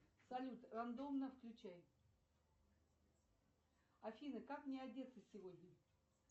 салют рандомно включай афина как мне одеться сегодня